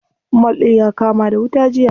Mall ɗin ya kama da wuta jiya.